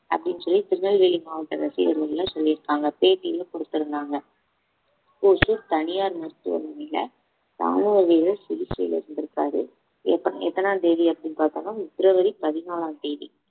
அப்படின்னு சொல்லி திருநெல்வேலி மாவட்ட ரசிகர் மன்றம்ல சொல்லி இருக்காங்க பேட்டியும் கொடுத்திருந்தாங்க ஓசூர் தனியார் மருத்துவமனையில ராணுவ வீரர் சிகிச்சையில இருந்திருக்காரு எப்ப~ எத்தன தேதி அப்படின்னு பார்த்தோம்ன்னா பிப்ரவரி பதினாலாம் தேதி